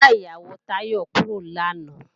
Ìyá ìyàwó Táyọ̀ kúrò lánàá